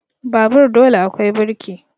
Babur dole akwai birki